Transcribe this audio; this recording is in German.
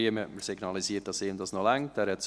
Riem hat mir signalisiert, dass es ihm noch reicht.